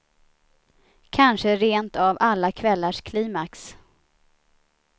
Kanske rent av alla kvällars klimax.